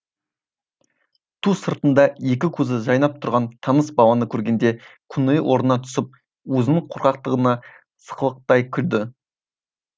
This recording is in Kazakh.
ту сыртында екі көзі жайнап тұрған таныс баланы көргенде көңілі орнына түсіп өзінің қорқақтығына сықылықтай күлді